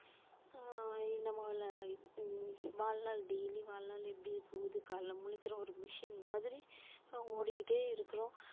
ஆஹ் நமல்ல இது வாழ்நாள் daily வாழ்நாள் எப்படி போது காலைல முழிக்கிறோம் ஒரு machine மாதிரி ஓடிக்கிட்டே இருக்குறோம்